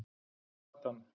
Natan